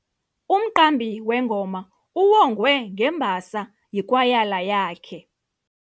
Umqambi wengoma uwongwe ngembasa yikwayala yakhe.